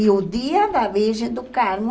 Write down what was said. E o dia da Virgem do Carmo